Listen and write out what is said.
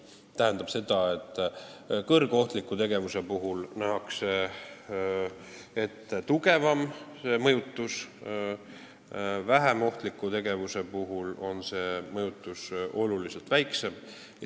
See tähendab seda, et kõrgohtliku tegevuse eest nähakse ette tugevam mõjutus, vähem ohtliku tegevuse korral on mõjutus oluliselt väiksem.